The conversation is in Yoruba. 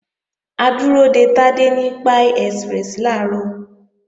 A dúró de Tádé ní Pie Express làárọ̀